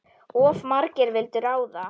Of margir vildu ráða.